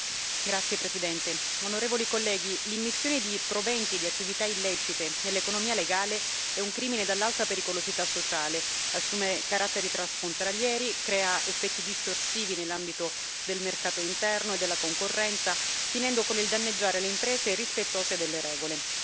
Signora Presidente, onorevoli colleghi, l'immissione di proventi di attività illecite nell'economia legale è un crimine dall'alta pericolosità sociale, assume caratteri transfrontalieri, crea effetti distorsivi nell'ambito del mercato interno e della concorrenza, finendo con il danneggiare le imprese rispettose delle regole.